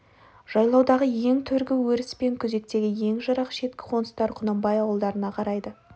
жайлаудағы ең төргі өріс пен күзектегі ең жырақ шеткі қоныстар құнанбай ауыл-дарына қарайды